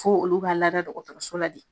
Ko olu b'a lada dɔgɔtɔrɔso la de.